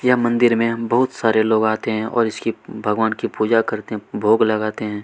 यह मंदिर में हम बहुत सारे लोग आते है और इसकी भगवान की पूजा करते है भोग लगाते है।